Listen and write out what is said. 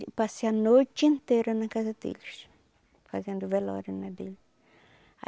passei a noite inteira na casa deles, fazendo velório né dele.